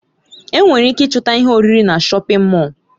Enwere ike ịchọta ihe oriri na shọpin Mọll.